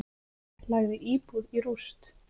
Lagði íbúð í rúst